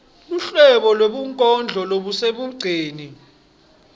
luhlobo lwebunkondlo lobusemigceni